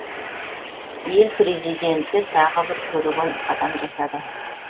ел президенті тағы бір көреген қадам жасады